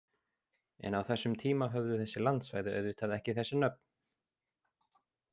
En á þessum tíma höfðu þessi landsvæði auðvitað ekki þessi nöfn!